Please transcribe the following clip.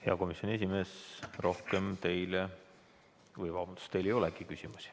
Hea komisjoni esimees, teile ei olegi küsimusi.